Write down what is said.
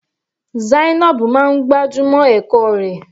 Zainab máa ń gbájúmọ́ ẹ̀kọ́ rẹ̀.